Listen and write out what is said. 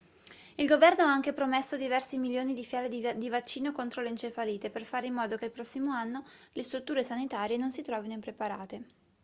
il governo ha anche promesso diversi milioni di fiale di vaccino contro l'encefalite per fare in modo che il prossimo anno le strutture sanitarie non si trovino impreparate